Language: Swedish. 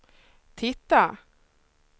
titta